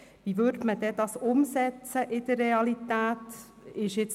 Wie würde man das dann in der Realität umsetzen?